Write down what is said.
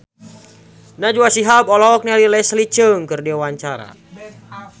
Najwa Shihab olohok ningali Leslie Cheung keur diwawancara